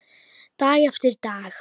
Dag eftir dag.